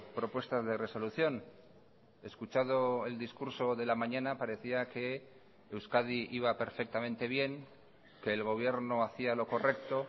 propuestas de resolución escuchado el discurso de la mañana parecía que euskadi iba perfectamente bien que el gobierno hacía lo correcto